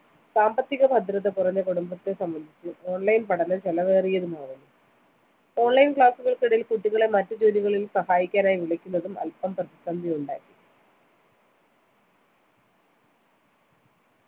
സാമ്പത്തികഭദ്രതാ കുറഞ്ഞ കുടുംബത്തെ സംബന്ധിച്ച് online പഠനം ചെലവേറിയതുമാണ് online class കൾക്ക് ഇടയിൽ കുട്ടികളെ മറ്റു ജോലികളിൽ സഹായിക്കാനായി വിളിക്കുന്നതും അൽപ്പം പ്രതിസന്ധിയുണ്ടായി